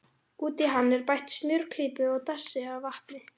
Út í hann er bætt smjörklípu og dassi af vatni.